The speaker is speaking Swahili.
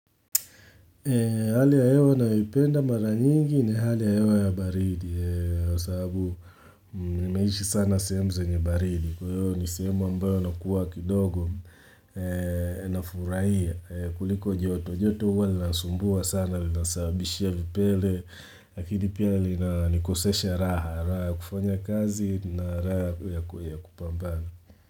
Hali ya hewa nayoipenda mara nyingi ni hali ya hewa ya baridi ya sababu nimeishi sana sehemu zenye baridi kwa hiyo ni sehemu ambayo na kuwa kidogo na furaia kuliko joto, joto huwa li nasumbua sana, li nasabishia vipele, akidi pia li na nikosesha raha, raha kufanya kazi na raha ya kupambana.